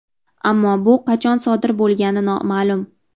Ammo bu qachon sodir bo‘lgani noma’lum.